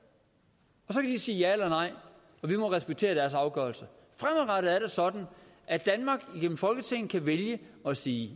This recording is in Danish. så kan de sige ja eller nej og vi må respektere deres afgørelse fremadrettet er det sådan at danmark igennem folketinget kan vælge at sige